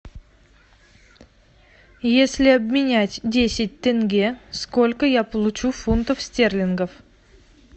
если обменять десять тенге сколько я получу фунтов стерлингов